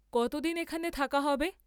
কতদিন এখানে থাকা হবে?